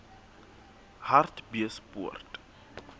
hartbeespoort